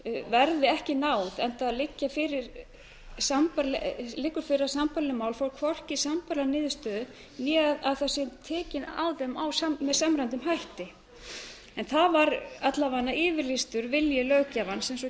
verði ekki náð enda liggur fyrir að sambærileg mál fá hvorki sambærilega niðurstöðu né að það sé tekið á þeim með samræmmdum hætti en það var alla vega yfirlýstur vilji löggjafans eins og fram